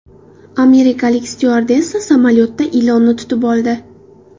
Amerikalik styuardessa samolyotda ilonni tutib oldi.